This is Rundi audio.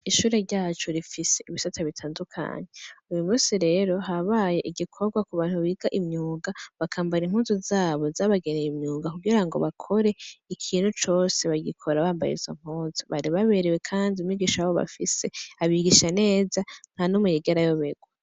Ishure ryacu rifise ibisata bitandukanyya uyu musi rero habaye igikorwa ku bantu biga imyunga bakambara inkuzu zabo zabagereye imyunga kugira ngo bakore ikintu cose bagikora bambaye izo mkuza bari baberewe, kandi umigisha abo bafise abigisha neza nka n'umuyigerayo berwa.